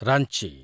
Ranchi